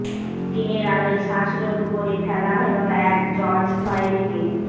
দিনের আলোয় শ্বাসরোধ করে ফেলা হল এক জর্জ ফ্লয়েডকে